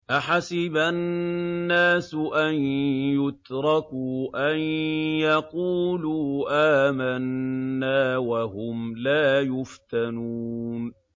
أَحَسِبَ النَّاسُ أَن يُتْرَكُوا أَن يَقُولُوا آمَنَّا وَهُمْ لَا يُفْتَنُونَ